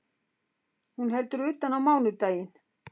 Hún heldur utan á mánudaginn